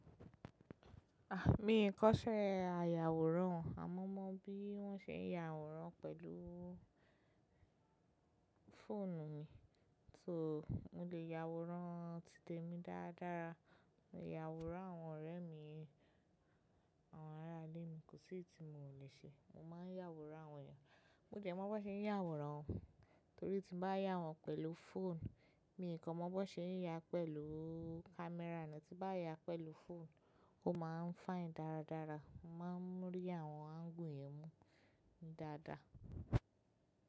Ah! Mio kò ṣe àyàwòrán, àmọ́ mo mọ bí wọ́n ṣe ń ya àwòrán pẹ̀lú fóònù mi. So, mo lè ya àwòrán títèmi dáadára, mo lè ya àwòrán àwọn ọ̀rẹ́ mi, àwọn ará ilé mi, kò sí èyí tí miò lè ṣe. Mo máa ń yàwòrán àwọn ènìyàn, mo dẹ mọ bí wọ́n ṣe ń yàwòrán, torí tí bá yà wọ́n pẹ̀lú fóònù, mi kò mọ bó ṣe ń ya pẹ̀lú camera ni, tí bá ya pẹ̀lú fóònù, ó máa ń fine dáradára, mo máa ń rí àwọn angle mú ni dáadáa.